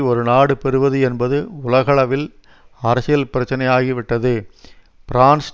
ஒரு நாடு பெறுவது என்பது உலகளவில் அரசியல் பிரச்சினை ஆகிவிட்டது பிரான்ஸ்